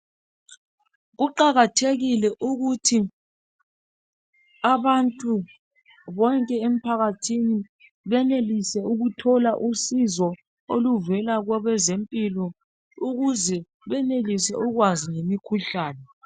Kuqakathekile ukuthi abantu bonke emphakathini benelise ukuthola usizo oluvela kwabazempilo ukuze benelise ukwazi ngemikhuhlane.